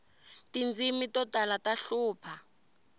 tindzimi to tala ta hlupha